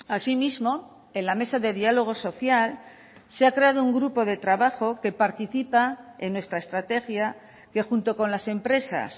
asimismo en la mesa de diálogo social se ha creado un grupo de trabajo que participa en nuestra estrategia que junto con las empresas